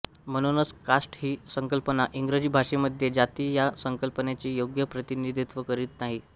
म्हणूनच कास्ट ही संकल्पना इंग्रजी भाषेमध्ये जाती ह्या संकल्पनेचे योग्य प्रतिनिधीत्व करित नाही